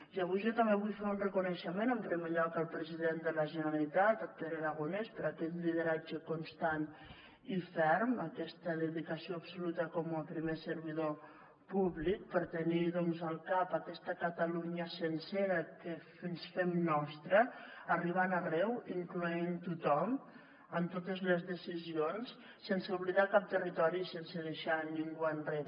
i avui jo també vull fer un reconeixement en primer lloc al president de la generalitat pere aragonès per aquest lideratge constant i ferm aquesta dedicació absoluta com a primer servidor públic per tenir doncs al cap aquesta catalunya sencera que ens fem nostra arribant arreu incloent tothom en totes les decisions sense oblidar cap territori i sense deixar ningú enrere